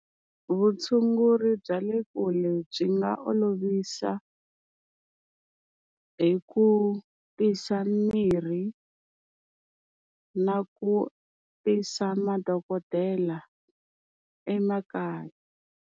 Vutshunguri bya le kule byi nga olovisa hi ku tisa mirhi na ku tisa madokodela emakaya.